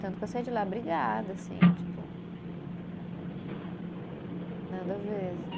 Tanto que eu saí de lá brigada, assim, tipo. Nada a ver, assim.